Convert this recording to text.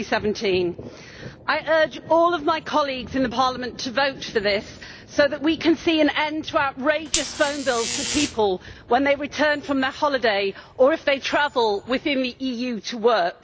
2017. I urge all of my colleagues in Parliament to vote for this so that we can see an end to outrageous phone bills for people when they return from their holiday or if they travel within the EU to work.